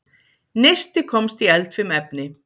Neisti komst í eldfim efni